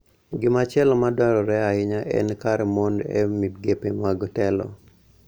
Gimachielo ma dwarore ahinya en kar mon e migepe mag telo,